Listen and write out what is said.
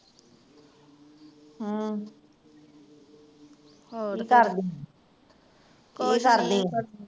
ਹਮ ਕੀ ਕਰਦੀ ਕੀ ਕਰਦੀ